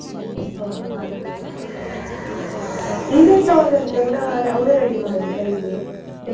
ಹೊ ಹಾಗೆ event ಅವ್ರದ್ದೆಲ್ಲ ಅವ್ರೆ ready ಮಾಡಿದ್ರಾ ಹೇಗೆ decoration .